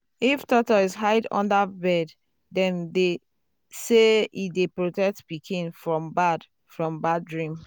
if tortoise hide under bed dem say e dey protect pikin from bad from bad dream.